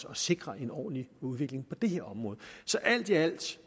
at sikre en ordentlig udvikling på det område så alt i alt